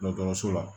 dɔgɔtɔrɔso la